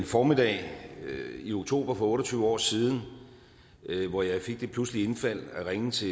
formiddag i oktober for otte og tyve år siden hvor jeg fik det pludselige indfald at ringe til